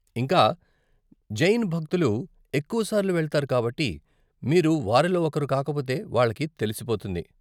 ఇంకా, జైన్ భక్తులు ఎక్కువ సార్లు వెళ్తారు కాబట్టి మీరు వారిలో ఒకరు కాకపోతే వాళ్ళకి తెలిసిపోతుంది.